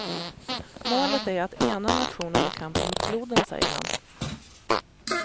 Målet är att ena nationen i kampen mot floden, säger han.